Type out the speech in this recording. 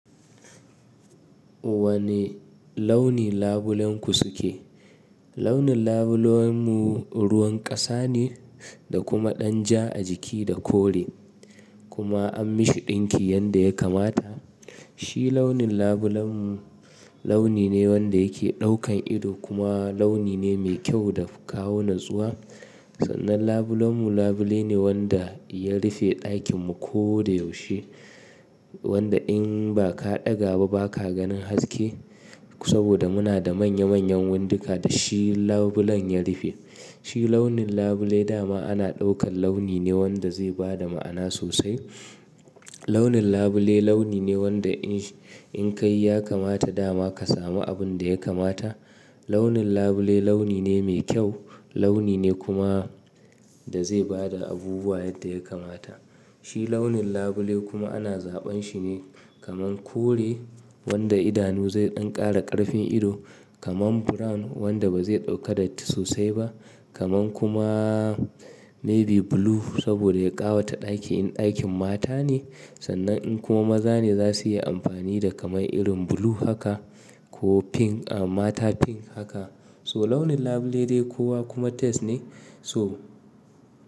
Wani launi labulenku suke? Launin labulenmu ruwan ƙasa ne da kuma ɗan ja a jiki da kore. Kuma an mishi ɗinki yanda ya kamata. Shi launin labulenmu launi ne wanda yake ɗaukan ido kuma launi ne mai kyau da kawo natsuwa. Sannan labulenmu labule ne wanda ya rufe ɗakinmu ko da yaushe. Wanda in ba ka ɗaga ba ba ka ganin haske saboda muna da manya manyan windika da shi labulen ya rufe. Shi launin labule dama ana ɗaukan launi ne wanda zai bada ma'ana sosai. Launin labule launi ne wanda in in kai ya kamata dama ka samu abun da ya kamata. Launin labule launi ne mai kyau, launi ne kuma da zai bada abubuwa yadda ya kamata. Shi launin labule kuma ana zaɓan shi ne kaman kore wanda idanu zai ɗan ƙara ƙarfin ido, kaman brown wanda ba zai ɗauka datti sosai ba, kaman kuma navy blue saboda ya ƙawata ɗaki in ɗakin mata ne. Sannan in kuma maza ne za su iya amfani da kamai irin blue haka ko pink a mata pink haka. So launin labule dai kowa kuma taste ne so.